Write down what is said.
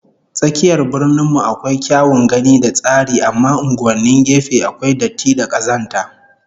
Tsakiyar Birnin mu akwai kyawun gani da tsari amma unguwannin gefe akwai datti da kazanta